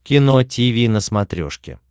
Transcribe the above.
кино тиви на смотрешке